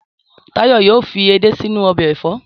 Táyọ̀ yóò fi edé sínú ọbẹ̀ ẹ̀fọ́.